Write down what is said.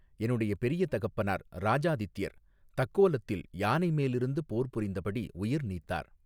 என்னுடைய பெரிய தகப்பனார் இராஜாதித்தியர் தக்கோலத்தில் யானைமேலிருந்து போர் புரிந்தபடி உயிர் நீத்தார்.